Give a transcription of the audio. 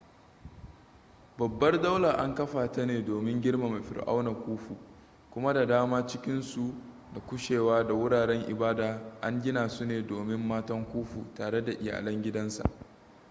babbar dalar an kafa ta ne domin girmama fir'auna khufu kuma da daman cikinsu da kushewu da wuraren ibada an gina su ne domin matan khufu tare da iyalan gidansa